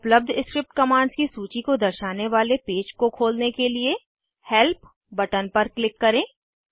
उपलब्ध script commands की सूची को दर्शाने वाले पेज को खोलने के लिए हेल्प बटन पर क्लिक करें